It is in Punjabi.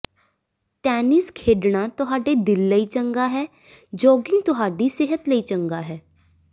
ਟੈਨਿਸ ਖੇਡਣਾ ਤੁਹਾਡੇ ਦਿਲ ਲਈ ਚੰਗਾ ਹੈ ਜੌਗਿੰਗ ਤੁਹਾਡੀ ਸਿਹਤ ਲਈ ਚੰਗਾ ਹੈ